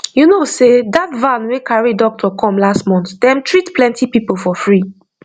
you know sey that van wey carry doctor come last month dem treat plenty people for free